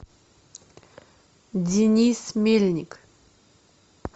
денис мельник